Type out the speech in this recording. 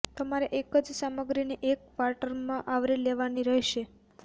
તમારે એક જ સામગ્રીને એક ક્વાર્ટરમાં આવરી લેવાની રહેશે